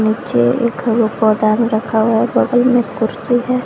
पौदान रखा हुआ है बगल में कुर्सी है।